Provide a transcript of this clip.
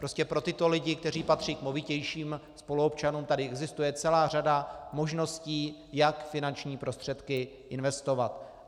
Prostě pro tyto lidi, kteří patří k movitějším spoluobčanům, tu existuje celá řada možností, jak finanční prostředky investovat.